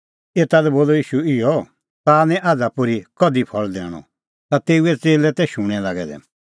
एता लै बोलअ ईशू इहअ ताह निं आझ़ा पोर्ही कधि फल़ दैणअ ता तेऊए च़ेल्लै तै शूणैं लागै दै